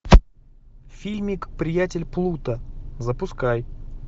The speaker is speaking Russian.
фильмик приятель плуто запускай